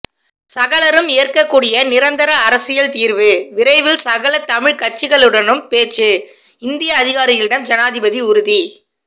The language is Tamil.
சகலரும் ஏற்கக்கூடிய நிரந்தர அரசியல் தீர்வு விரைவில் சகல தமிழ் கட்சிகளுடனும் பேச்சு இந்திய அதிகாரிகளிடம் ஜனாதிபதி உறுதி